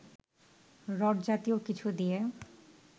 rod জাতীয় কিছু দিয়ে